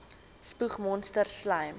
spoeg monsters slym